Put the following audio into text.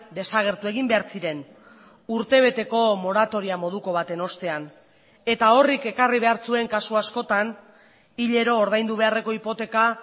desagertu egin behar ziren urtebeteko moratoria moduko baten ostean eta horrek ekarri behar zuen kasu askotan hilero ordaindu beharreko hipoteka